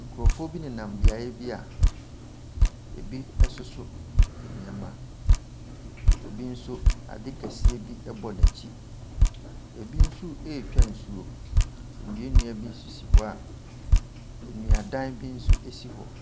Nkurɔfoɔ bi nenam beaeɛ bi a ebi soso nneɛma. Obi nso ade kɛseɛ bi ɛbɔ n'akyi. Ebi nso retwa nsuo. Nnua nnua bi sisi hɔ a nnuadan bi nso si hɔ.